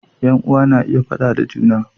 Yan uwa na iya faɗa da juna